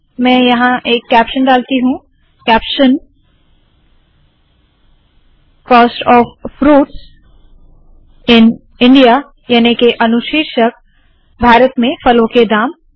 मैं यहाँ एक कैप्शन डालती हूँ Caption - cost of fruits in India याने के अनुशीर्षक भारत में फलों के दाम